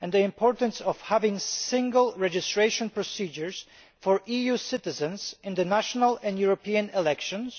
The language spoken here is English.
and the importance of having single registration procedures for EU citizens in the national and European elections